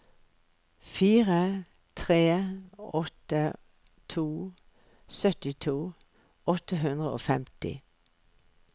fire tre åtte to syttito åtte hundre og femti